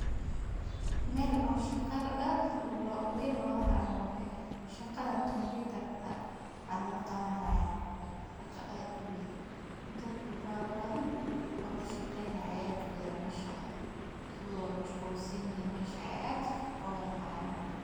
Meel aad shaqa weyn loga hayo waye shaqada computer ka aya laga qawani haya shaqa aad uweyn dad fara badan oo shaqeynaya aya mesha wadha joga so wey mashqul sanyihin mesha ayey shaqa aad oga hayan.